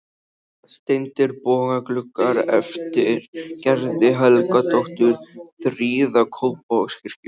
Steindir bogagluggar eftir Gerði Helgadóttur prýða Kópavogskirkju.